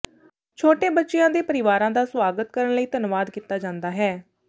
ਛੋਟੇ ਬੱਚਿਆਂ ਦੇ ਪਰਿਵਾਰਾਂ ਦਾ ਸੁਆਗਤ ਕਰਨ ਲਈ ਧੰਨਵਾਦ ਕੀਤਾ ਜਾਂਦਾ ਹੈ